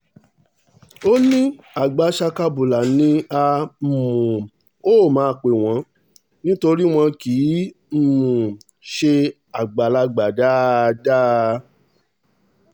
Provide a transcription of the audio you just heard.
ó ní àgbà sakabula ni a um ó máa pè wọ́n nítorí wọn kì í um ṣe àgbàlagbà dáadáa